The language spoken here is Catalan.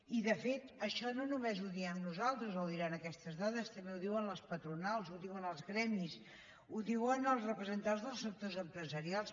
i de fet això no només ho diem nosaltres o ho diran aquestes dades també ho diran les patronals ho diuen els gremis ho diuen els representants dels sectors empresarials